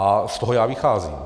A z toho já vycházím.